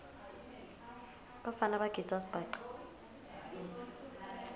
bafana bagidza sibhaca